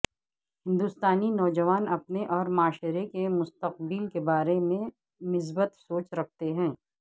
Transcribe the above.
ہندوستانی نوجوان اپنے اورمعاشرے کے مستقبل کے بارے میں مثبت سوچ رکھتے ہیں